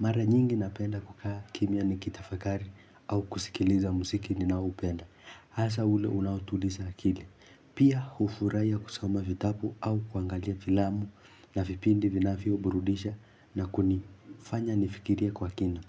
Mara nyingi napenda kukaa kimya nikitafakari au kusikiliza muziki ninaoupenda. Hasa ule unaotuliza akili. Pia hufurahia kusoma vitabu au kuangalia filamu na vipindi vinavyo burudisha na kuni. Fanya nifikirie kwa kina.